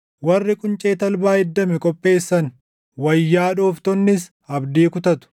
Warri quncee talbaa iddame qopheessan, wayyaa dhooftonnis abdii kutatu.